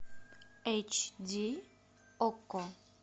эйч ди окко